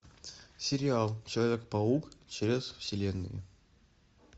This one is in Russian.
сериал человек паук через вселенные